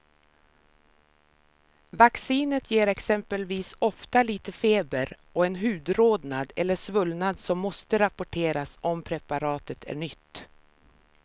Vacciner ger exempelvis ofta lite feber och en hudrodnad eller svullnad som måste rapporteras om preparatet är nytt.